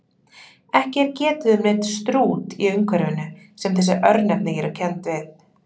Ekki er getið um neinn Strút í umhverfinu sem þessi örnefni eru kennd við.